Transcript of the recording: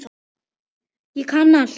Ég kann allt!